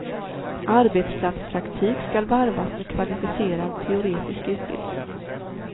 Arbetsplatspraktik ska varvas med kvalificerad teoretisk utbildning.